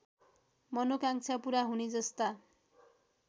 मनोकांक्षा पूरा हुनेजस्ता